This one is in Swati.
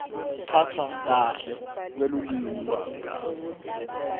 kuphatfwa kahle kwelulwimi